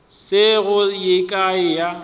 se go ye kae ya